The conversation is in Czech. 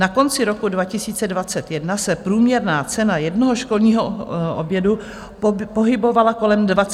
Na konci roku 2021 se průměrná cena jednoho školního oběda pohybovala kolem 28 korun.